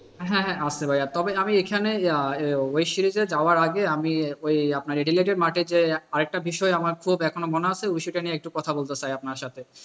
হ্যাঁ হ্যাঁ আপ্তে ভাইয়া তবে আমি এখানে ওই series এ যাওয়ার আগে আমি ওই আপনার অ্যাডিলেড মাঠে যে আরেকটা বিষয় আমার খুব এখন মনে আছে ওই সেইটা নিয়ে একটু কথা বলতে চাই আপনার সাথে।